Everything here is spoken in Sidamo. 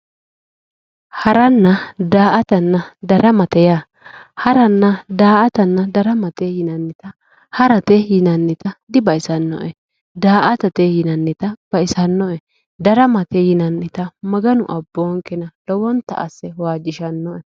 Haranna daa"atanna daramate yaa haranna daa"atanna daramate yinannita harate yinannita dibaxisannoe daa"atate yinannita baxisannoe daramate yinannita maganu abboonkena lowonta asse waajjishannoe